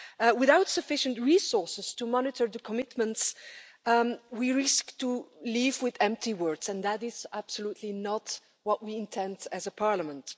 Without sufficient resources to monitor the commitments, we risk leaving with empty words, and that is absolutely not what we intend as a parliament.